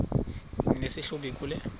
nesi hlubi kule